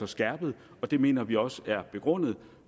skærpet og det mener vi også er begrundet